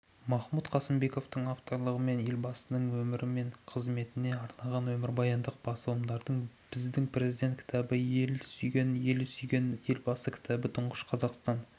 махмұт қасымбековтің авторлығымен елбасының өмірі мен қызметіне арналған өмірбаяндық басылымдар біздің президент кітабы елін сүйген елі сүйген елбасы кітабы тұңғыш қазақстан